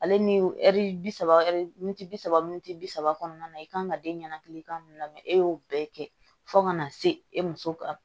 Ale ni ɛri bi saba ɛ bi saba bi saba kɔnɔna na i kan ka den ɲanakilikan mun mɛn e y'o bɛɛ kɛ fo ka na se e muso ka